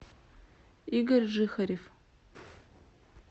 игорь жихарев